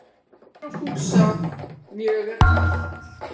Mér og Fúsa mjög er kalt